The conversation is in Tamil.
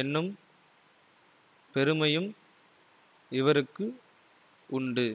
என்னும் பெருமையும் இவருக்கு உண்டு